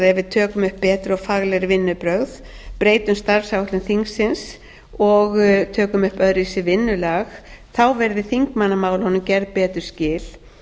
tökum upp betri og faglegri vinnubrögð breytum starfsháttum þingsins og tökum upp öðruvísi vinnulag verði þingmannamálunum gerð betri skil